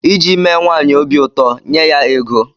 Iji mee nwaanyị obi ụtọ, nyee ya ego.